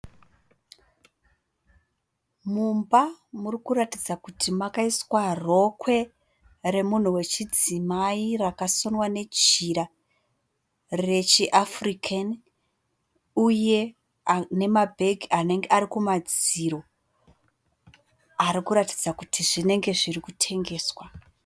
Mumba muri kuratidza kuti makaiswa rokwe remunhu wechidzimai rakasonwa nejira rechiAfrican uye nemabhegi anenge ari kumadziro arikuratidza kuti zvinenge zviri kutengeswa.